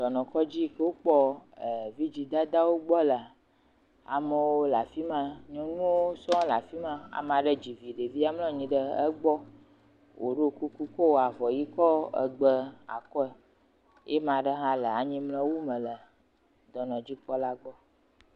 Dɔnɔkɔdzi yi ke wokpɔ vidzidadawo gbɔ lea. Amewo le afi ma. Nyɔnuwo sɔŋ le afi ma. Ame aɖe dzi vi ɖevia mlɔ anyi ɖe egbɔ. Woɖo kuku kɔ avɔ ʋi kɔ gbe akɔ ye ame aɖe hã le anyimlɔwu me le dɔnɔdzikpɔla gbɔ.